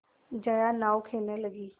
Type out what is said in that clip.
जया नाव खेने लगी